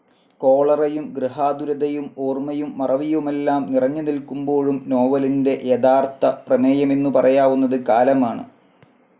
കോളറയും ഗൃഹാതുരതയും ഓർമ്മയും മറവിയുമെല്ലാം നിറഞ്ഞു നിൽക്കുമ്പോഴും നോവലിന്റെ യഥാർത്ഥ പ്രമേയമെന്നു പറയാവുന്നത് കാലമാണ്.